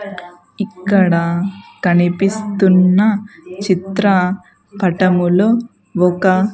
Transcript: ఇక్కడ కనిపిస్తున్న చిత్ర పటములో ఒక.